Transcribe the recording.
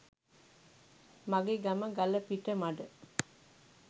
මගෙ ගම ගලපිටමඩ.